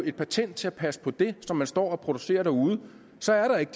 et patent til at passe på det som man står og producerer derude så er der ikke